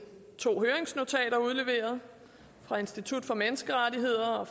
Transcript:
to høringsnotater udleveret et fra institut for menneskerettigheder og